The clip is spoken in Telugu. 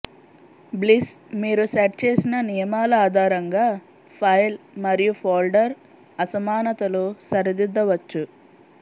బ్లిస్ మీరు సెట్ చేసిన నియమాల ఆధారంగా ఫైల్ మరియు ఫోల్డర్ అసమానతలు సరిదిద్దవచ్చు